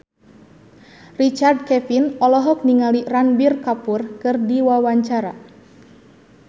Richard Kevin olohok ningali Ranbir Kapoor keur diwawancara